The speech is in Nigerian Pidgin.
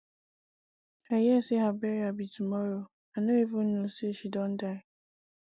i hear say her burial be tomorrow i no even know say she don die